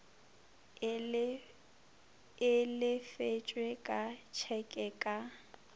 e lefetšwe ka tšheke ka